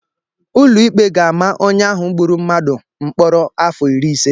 Ụlọikpe ga-ama onye ahụ gburu mmadụ mkpọrọ afọ iri ise